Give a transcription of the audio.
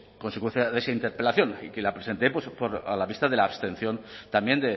consecuencia de esa interpelación y que la presenté a la vista de la abstención también